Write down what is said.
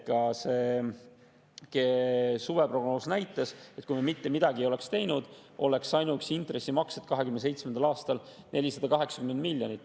Ka suveprognoos näitas, et kui me mitte midagi ei teeks, oleks 2027. aastal ainuüksi intressimaksed 480 miljonit.